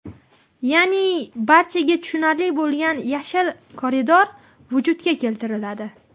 Ya’ni barchaga tushunarli bo‘lgan yashil koridor vujudga keltiriladi.